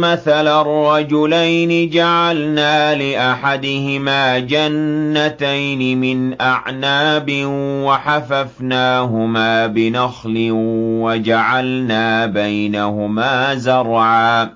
مَّثَلًا رَّجُلَيْنِ جَعَلْنَا لِأَحَدِهِمَا جَنَّتَيْنِ مِنْ أَعْنَابٍ وَحَفَفْنَاهُمَا بِنَخْلٍ وَجَعَلْنَا بَيْنَهُمَا زَرْعًا